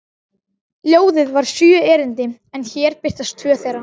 Ljóðið var sjö erindi en hér birtast tvö þeirra: